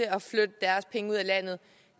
at flytte deres penge ud af landet